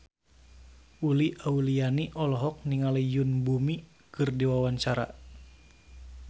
Uli Auliani olohok ningali Yoon Bomi keur diwawancara